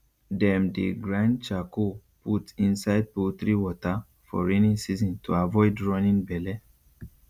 dem dey grind charcoal put inside poultry water for rainy season to avoid running belle